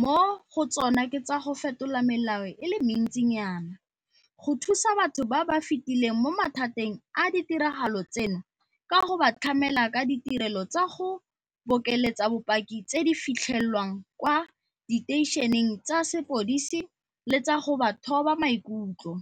Mo go tsona ke tsa go fetola melao e le mentsinyana, go thusa batho ba ba fetileng mo mathateng a ditiragalo tseno ka go ba tlamela ka ditirelo tsa go bokeletsa bopaki tse di fitlhelwang kwa diteišeneng tsa sepodisi le tsa go ba thoba maikutlo,